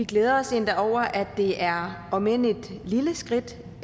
vi glæder os endda over at det er et om end et lille skridt